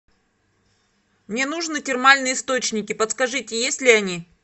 мне нужно термальные источники подскажите есть ли они